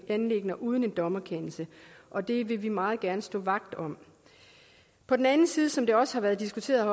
anliggender uden en dommerkendelse og det vil vi meget gerne stå vagt om på den anden side som det også har været diskuteret